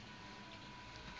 cthulhu mythos writers